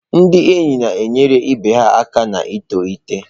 Ndị enyi na-enyere ibe ha aka ito eto.